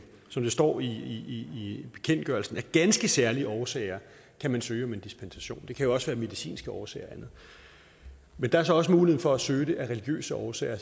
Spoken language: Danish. som der står i bekendtgørelsen af ganske særlige årsager søge om en dispensation det kan jo også være af medicinske årsager og andet men der er så også mulighed for at søge om det af religiøse årsager